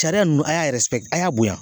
Sariya ninnu a y'a a y'a bonya.